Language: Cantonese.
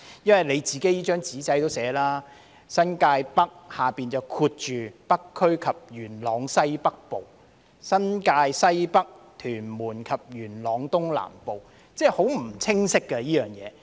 因為局方的"紙仔"也寫了，"新界北"下面括着"北區及元朗區西北部"，"新界西北"則括着"屯門區及元朗區東南部"，即是說這些選區名稱是非常不清晰的。